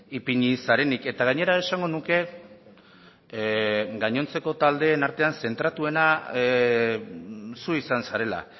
ipini zarenik eta gainera esango nuke gainontzeko taldeen artean zentratuena zu izan zarela